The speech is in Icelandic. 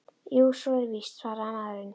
Jú, svo er víst- svaraði maðurinn.